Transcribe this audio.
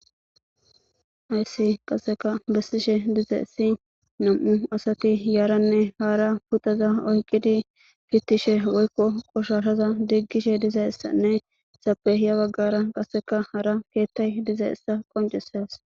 Haysi qaseka bessishe diza issi nam'u asati yaaranne haara putaza oyqidi gittishe woykko qoshashaza diggishe dizaissanne sapeya baggara qaseka hara keettay diza issa qoncisas.